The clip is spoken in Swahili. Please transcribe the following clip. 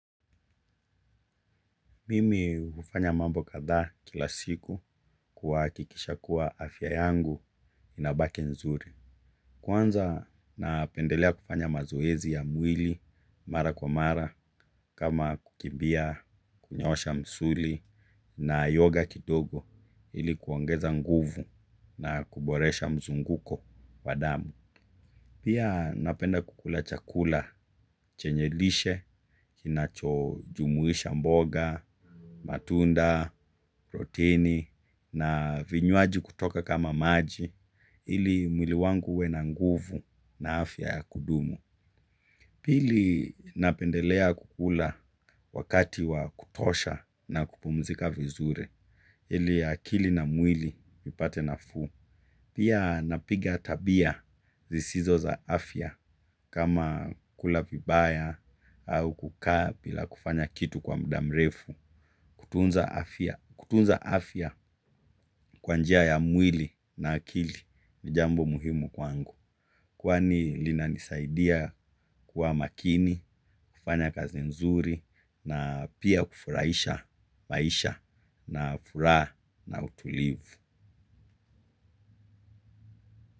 Mimi hufanya mambo kathaa kila siku kuhakikisha kuwa afya yangu inabaki nzuri. Kwanza napendelea kufanya mazoezi ya mwili mara kwa mara kama kukimbia, kunyosha msuli na yoga kidogo ilikuongeza nguvu na kuboresha mzunguko wadamu. Pia napenda kukula chakula chenye lishe, kinacho jumuisha mboga, matunda, protini na vinywaji kutoka kama maji ili mwili wangu uwena nguvu na afya ya kudumu. Pili napendelea kukula wakati wa kutosha na kupumzika vizuri, ili akili na mwili ipate nafuu. Pia napiga tabia zisizo za afya kama kula vibaya au kukaa bila kufanya kitu kwa mdamrefu. Kutunza afya kwanjia ya mwili na akili ni jambo muhimu kwangu. Kwa ni lina nisaidia kuwa makini, kufanya kazi nzuri na pia kufurahisha, maisha na furaha na utulivu.